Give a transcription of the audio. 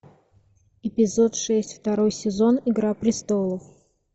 эпизод шесть второй сезон игра престолов